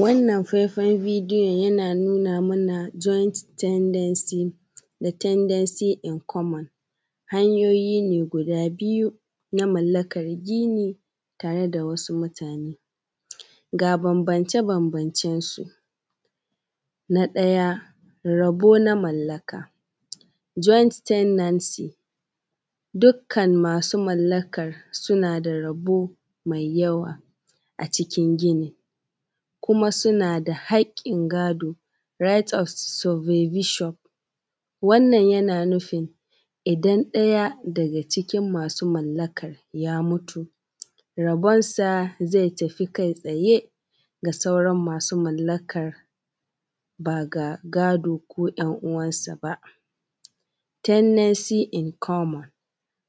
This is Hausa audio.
Wannan faifan bidiyon yana nuna mana joint tenancy da tenancy in common hanyoyi ne guda biyu na mallakan gini tare da wasu mutane. G a bambance-bambancensu na ɗaya rabo na mallaka join tendency dukkan masu mallakar suna da rabo mai yawa a cikin gini kuma suna da haƙƙin gado right of supervision. Wannan yana nufin idan ɗaya daga cikin masu mallakar ya mutu rabonsa zai tafi kai tsaye ga sauran masu mallakar ba, ga gado ko ‘yan uwansa ba, tenancy in common